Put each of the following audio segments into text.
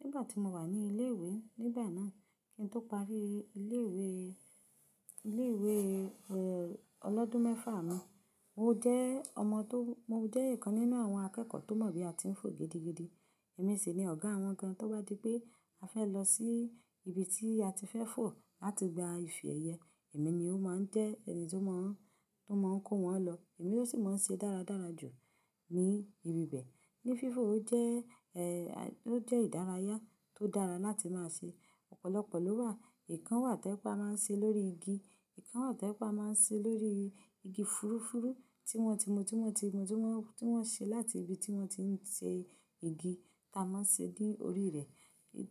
nígbà tí mo wà ní ilé ìwé. Nígbà náà kí n tó parí ilé ìwé, ilé ìwé, ẹ, ọlọ́dún mẹ́fà mi. Mo jẹ́ ọmọ tó-- mo jẹ́ ìkan nínú àwọn akẹ́kọ̀ọ́ tó mọ̀ bí a ti ń fò gidigidi. Ẹ̀mí sì ni ọ̀gá wọn gan-an, tó wá di pé a fẹ́ lọ sí ibi tí a ti fẹ́ fò láti gba ifẹ́ ẹyẹ. Ẹ̀mí ni ó máa ń jẹ́ ẹni tí ó máa ń, tí ó máa ń kó wọn lọ. Ẹ̀mí ló sì máa ń ṣe dáradára jù ní ibi bẹ́ẹ̀. Ní fífò ó jẹ́, ẹ, ó jẹ́ ìdárayá tó dára láti máa ṣe. Ọ̀pọ̀lọpọ̀ ló wà. Ìkan wà tí a máa ń ṣe lórí igi. Ìkan wà tí a máa ń ṣe lórí igi fúrufúru tí wọ́n ti mọ, tí wọ́n ti mọ, tí wọ́n, tí wọ́n ṣe láti ibi tí wọ́n ti ń ṣe igi ta máa ń ṣe ní orí rẹ̀,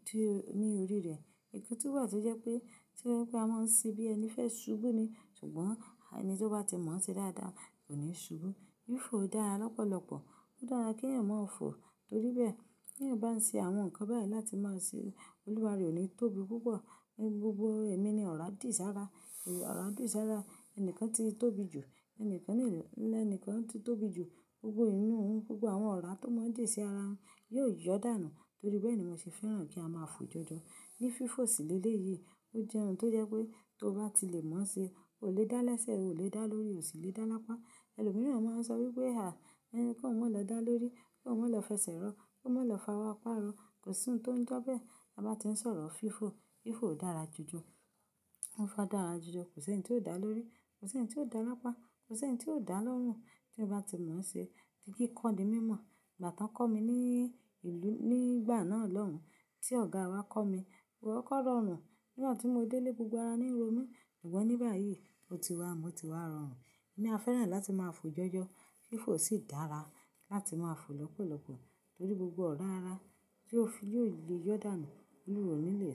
di ní orí rẹ̀. Ìkan tún wà tó jẹ́ pé, tí wọ́n pé a máa ń ṣe bí ẹni fẹ́ ṣubú ni, ṣùgbọ́n ẹni tí ó bá ti mọ̀ ọ́n ṣe dáadáa kò ní ṣubú. Fífò dára lọ́pọ̀lọpọ̀. Ó dára kí ẹ̀yàn máa fò torí bẹ́ẹ̀. Kí ẹ̀yàn bá ń ṣe àwọn nǹkan báyìí láti máa ṣe olúwa rẹ̀ ò ní tóbi púpọ̀. Ní gbogbo ẹ̀mí ni ọ̀rá dì sárá, ọ̀rá dì sárá. Ẹnìkan ti tóbi jù, ẹni kan lè, ẹni kan ti tóbi jù, gbogbo eyi òun, gbogbo àwọn ọ̀rá tó mọ́ dì sí ara òun yóò yọ́ dànù torí bẹ́ẹ̀ ni mo ṣe fẹ́ràn kí a máa fò jọjọ. Ní fífò sílé léyìí, ó jẹ́ ohun tó jẹ́ pé tó bá ti lè mọ̀ ọ́n ṣe, o lè dá léṣẹ̀, o lè dá lórí, o sì lè dá lápá. Ẹlòmíràn máa ń sọ wípé, à, ẹ, kó má lọ dá lórí, kó má lọ fẹsẹ̀ rọ́, kó má lọ fa wá parọ́. Kò sí ohun tó ń jẹ́ bẹ́ẹ̀ bá bà ti ń sọ̀rọ̀ fífò. Fífò dára jójó. Ó fa dára jójó. Kò sí ẹni tí ó dá lórí, kò sí ẹni tí ó dá lápá, kò sí ẹni tí ó dá lọ́rùn tí ó bá ti mọ̀ ọ́n ṣe. Kííko di mí mọ̀ nígbà tí wọ́n kọ́ mi ní ìlú nígbà náà lọ́hùn, tí ọ̀gá wa kọ́ mi. Kò kọ́kó rọrùn nígbà tí mo dé lé gbogbo ara níro mi. Ṣùgbọ́n ní báyìí, ó ti wà, mo ti wá rọrùn. Ní a fẹ́ràn láti máa fò jọjọ. Fífò sì dára láti máa fò lọ́pọ̀lọpọ̀ torí gbogbo ọ̀rá ara tí ó fi yóò le yọ dànù kúrò nílé.